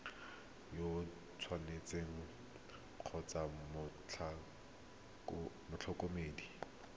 yo o tshwanetseng kgotsa motlhokomedi